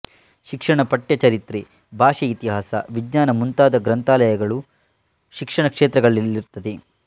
ಶಿಕ್ಷಣ ಪಠ್ಯ ಚರಿತ್ರೆ ಭಾಷೆ ಇತಿಹಾಸ ವಿಜ್ಞಾನ ಮುಂತಾದ ಗ್ರಂಥಾಲಯಗಳು ಶಿಕ್ಷಣ ಕ್ಷೇತ್ರಗಳಲ್ಲಿರುತ್ತದೆ